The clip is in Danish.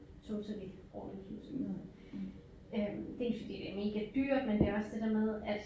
Totally all inclusive øh dels fordi det er mega dyrt men det også det der med at